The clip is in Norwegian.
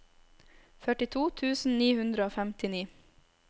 førtito tusen ni hundre og femtini